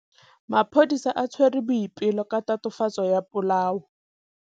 Maphodisa a tshwere Boipelo ka tatofatsô ya polaô.